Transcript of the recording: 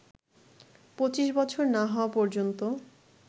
২৫ বছর না হওয়া পর্যন্ত